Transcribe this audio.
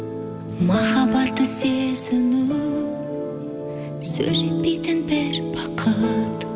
махаббатты сезіну сөз жетпейтін бір бақыт